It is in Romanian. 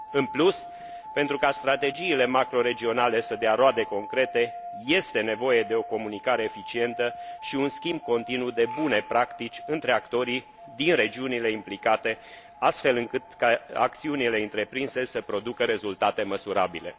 În plus, pentru ca strategiile macroregionale să dea roade concrete, este nevoie de o comunicare eficientă și un schimb continuu de bune practici între actorii din regiunile implicate, astfel încât acțiunile întreprinse să producă rezultate măsurabile.